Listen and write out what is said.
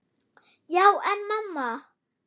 Já, en mamma.!